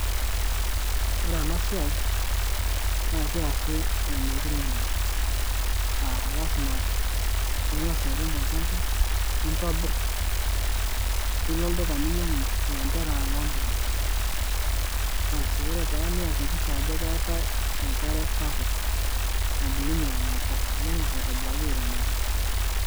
Ore ena siai naa kiasi eimu enkiremore aa lasima pingas airem olchamba ,nintobir ,nilo olduka ninyangu ilanterera loo mpuka asi ore taa niakikisha Ajo keetaae enkare sapuk nabulunyie nena puka ningor aitobiraki airemoki .